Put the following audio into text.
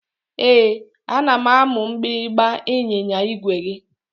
Ee, ana m anụ mgbịrịmgba ịnyịnya igwe gị